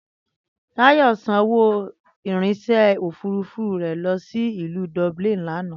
Táyò̩ sanwó ìrìnsè̩ òfúrufú rè̩ lo̩ sí ìlú Dublin lánàá